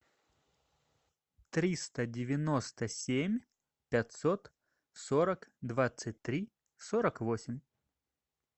триста девяносто семь пятьсот сорок двадцать три сорок восемь